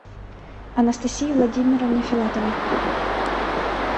анастасии владимировне филатовой